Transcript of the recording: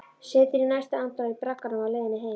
Situr í næstu andrá í bragganum á leiðinni heim.